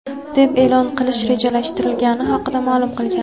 deb e’lon qilish rejalashtirilgani haqida ma’lum qilgan.